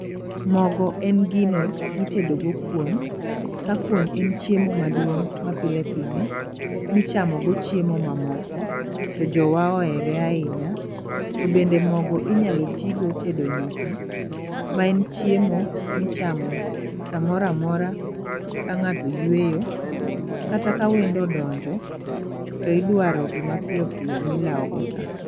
Mogo en gino mitedo go kuon ka kuon en chiemo maduong' ma pile pile michamo go chiemo mamoko to jowa ohere ahinya. To bende mogo inyalo tigo tedo nyuka ma en chiemo michamo samoramora ka ng'ato yweyo kata ka wendo odonjo to idwaro gima piyo piyo tilawo go saa.